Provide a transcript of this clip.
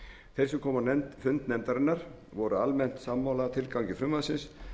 þeir sem komu á fund nefndarinnar voru almennt sammála tilgangi frumvarpsins